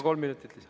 Kolm minutit lisaks.